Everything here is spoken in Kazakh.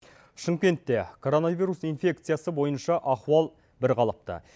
шымкентте коронавирус инфекциясы бойынша ахуал бірқалыпты